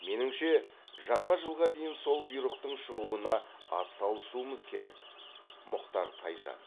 меніңше жаңа жылға дейін сол бұйрықтың шығуына атсалысуымыз керек мұхтар тайжан